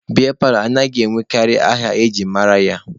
Biya paalọ anaghị enwekarị aha e ji mara ya.